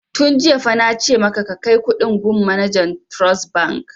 Tun jiya fa na ce maka ka kai kuɗin gun manajan suntrust bank!